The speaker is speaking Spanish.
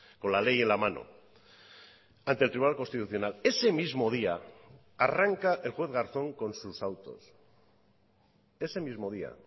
con la ley en la mano ante el tribunal constitucional ese mismo día arranca el juez garzón con sus autos ese mismo día